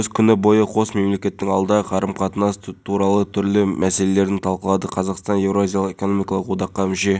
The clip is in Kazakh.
ұсталғандар азаматтары салафиттер дейді ал біз оларды ұстаған кезде неге ұстайсыңдар деп мәлімдеді владимир жұмақанов төрағасы